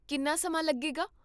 ਕਿੰਨਾ ਸਮਾਂ ਲੱਗੇਗਾ?